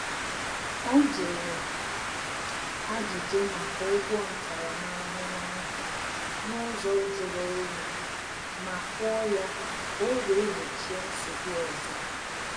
Ọ jụrụ ajuju maka ụgwọ ntaramahụhụ ahụ n’ụzọ juru onyi, ma kwụọ ya ka o wee gbochie nsogbu ọzọ